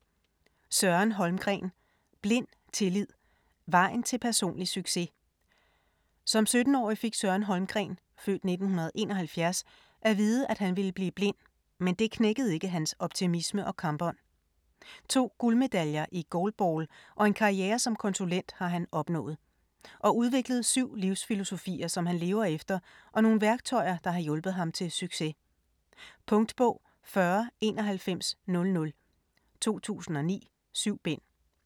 Holmgren, Søren: Blind tillid: vejen til personlig succes Som 17-årig fik Søren Holmgren (f. 1971) at vide, at han ville blive blind, men det knækkede ikke hans optimisme og kampånd. 2 guldmedaljer i goalball og en karriere som konsulent har han opnået. Og udviklet syv livsfilosofier som han lever efter og nogle værktøjer, der har hjulpet ham til succes. Punktbog 409100 2009. 7 bind.